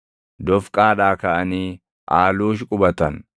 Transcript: Dofqaadhaa kaʼanii Aaluush qubatan.